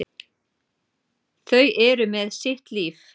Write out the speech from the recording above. Þau eru með sitt líf.